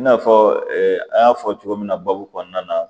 I n'a fɔ an y'a fɔ cogo min na baabu kɔnɔna na